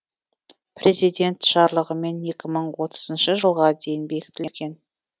президент жарлығымен екі мың отызыншы жылға дейін бекітілген